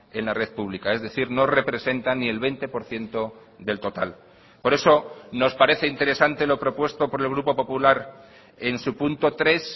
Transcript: en la red pública es decir no representa ni el veinte por ciento del total por eso nos parece interesante lo propuesto por el grupo popular en su punto tres